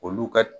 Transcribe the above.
Olu ka